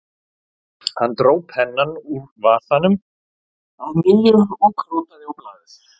Hann dró pennann úr vasanum að nýju og krotaði á blaðið